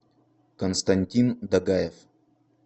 константин дагаев